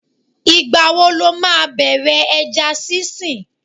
Ìgbà wo lo máa bẹ̀rẹ̀ ẹja sinsin?